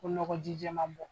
Ko nɔgɔjij jɛma bɔ.